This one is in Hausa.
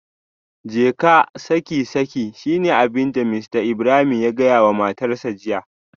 Jeka saki saki shine abinda Mr Ibrahim yace da matarsa ​​jiya